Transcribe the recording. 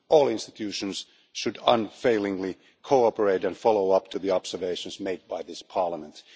All the EU institutions should unfailingly cooperate and follow up the observations made by this Parliament.